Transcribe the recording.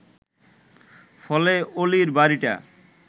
ফলে অলির বাড়িটা